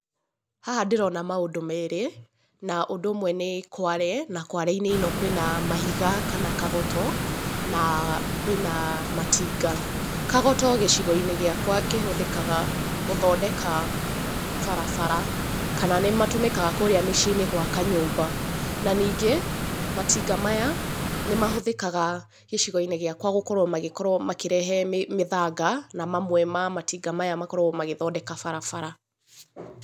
Haha ndĩrona maũndũ merĩ, na ũndũ ũmwe nĩ kware, na kware-inĩ ĩno kwĩna mahiga, kana kagoto, na kwĩna matinga. Kagoto gĩcigo-inĩ gĩakwa kĩhũthĩka gũthondeka barabara, kana nĩ matũmĩkaga kũũrĩa mĩciĩ-inĩ gũaka nyũmba. Na ningĩ matinga maya nĩ mahũthĩkaga gĩcigo-inĩ gĩakwa gũkorwo magĩkorwo makĩrehe mĩthanga na mamwe ma matinga maya makoragwo magĩthondeka barabara.